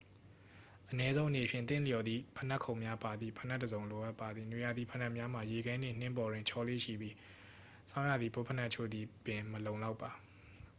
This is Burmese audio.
အနည်းဆုံးအနေဖြင့် သင့်လျော်သည့် ဖိနပ်ခုံများပါသည့် ဖိနပ်တစ်စုံ လိုအပ်ပါသည် နွေရာသီဖိနပ်များမှာ ရေခဲနှင့် နှင်းပေါ်တွင် ချော်လေ့ရှိပြီး ဆောင်းရာသီ ဘွတ်ဖိနပ်အချို့သည်ပင် မလုံလောက်ပါ